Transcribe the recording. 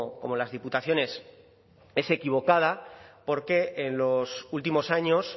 como las diputaciones es equivocada porque en los últimos años